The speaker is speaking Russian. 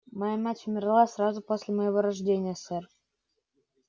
моя мать умерла сразу после моего рождения сэр